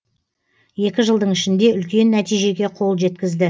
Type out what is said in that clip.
екі жылдың ішінде үлкен нәтижеге қол жеткізді